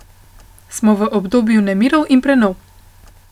Smo v obdobju nemirov in prenov.